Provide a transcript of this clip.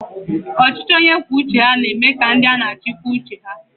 Ọchịchị onye kwuo uche ya na eme ka ndị a na-achị kwuo uche ha